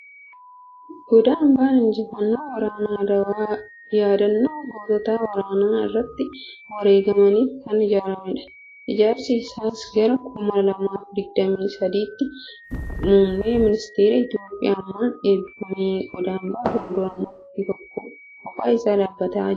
Goda ambaan Injifannoo waraana Adawaa yaadannoo gootota waraana irratti wareegamaniif kan ijaarameedha. Ijaarsi isaas gara kuma lamaaf digdamiii sadiitti muummee ministara Itoophiyaa ammaan. eebbifame. Goda ambaa fuuldura mukti tokko kophaa isaa dhaabbatee jira.